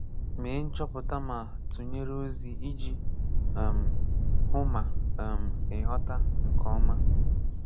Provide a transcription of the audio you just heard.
Mee nchọpụta ma tụnyere ozi iji um hụ ma um ị ghọ́ta nke ọma.